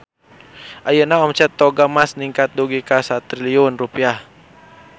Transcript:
Ayeuna omset Toga Mas ningkat dugi ka 1 triliun rupiah